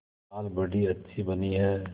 दाल बड़ी अच्छी बनी है